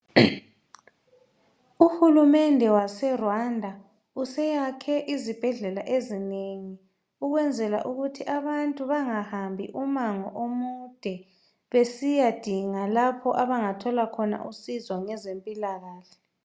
Uhulumende waseRwanda useyakhe izibhedlela ezinengi ukwenzela ukuthi abantu bangahambi umango omude besiya dinga lapho abangathola khona usizo ngezempilakahle.